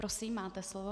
Prosím, máte slovo.